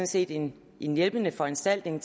set en hjælpende foranstaltning